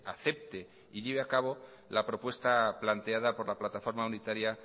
acepte y lleve a cabo la propuesta planteada por la plataforma unitaria